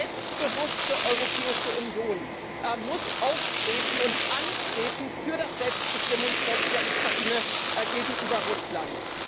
Eine selbstbewusste Europäische Union muss eintreten für das Selbstbestimmungsrecht der Ukraine gegenüber Russland.